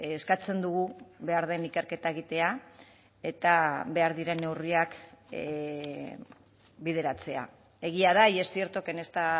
eskatzen dugu behar den ikerketa egitea eta behar diren neurriak bideratzea egia da y es cierto que en esta